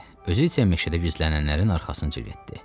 Özü isə meşədə gizlənənlərin arxasınca getdi.